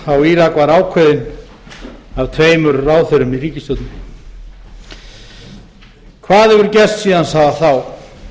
á írak var ákveðin af tveimur ráðherrum í ríkisstjórninni hvað hefur gerst síðan þá